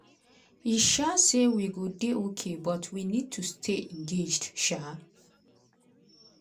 e um say "we go dey okay but we need to stay engaged." um